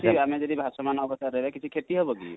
ସେମିତି ଯଦି କିଛି ଭାସମାନ ଅବସ୍ଥା ରେ ରହିବା କିଛି କ୍ଷତି ହେବ କି?